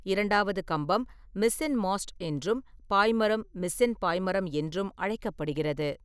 இரண்டாவது கம்பம் mizzen mast என்றும், பாய்மரம் மிஸ்ஸென் பாய்மரம் என்றும் அழைக்கப்படுகிறது.